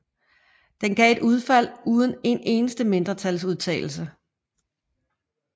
Det gav et udfald uden en eneste mindretalsudtalelse